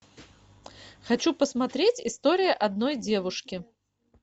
хочу посмотреть история одной девушки